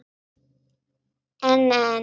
En en.